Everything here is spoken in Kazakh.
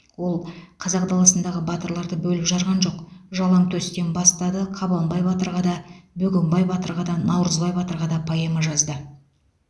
ол қазақ даласындағы батырларды бөліп жарған жоқ жалаңтөстен бастады қабанбай батырға да бөгенбай батырға да наурызбай батырға да поэма жазды